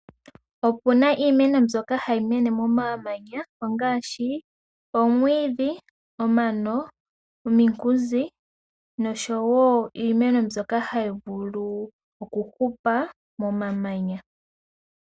Opu na iimeno mbyoka hayi mene momamanya ongaashi omwiidhi, omano, ominkunzi nosho wo iimeno mbyoka hayi vulu okuhupa momamanya.